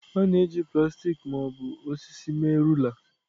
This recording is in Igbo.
A na-eji plastik ma ọ bụ osisi mee rula.